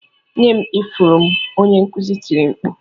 "Nye m ifụrụ m" Onye nkuzi tiri mkpu